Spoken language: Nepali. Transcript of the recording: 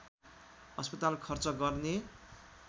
अस्पताल खर्च गर्ने